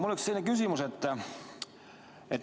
Mul on selline küsimus.